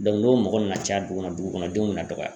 Dɔnku n'o mɔgɔ nana caya dugu kɔnɔ dugu kɔnɔ denw bena dɔgɔya